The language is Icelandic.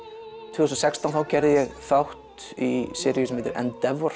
tvö þúsund og sextán þá gerði ég þátt í seríu sem heitir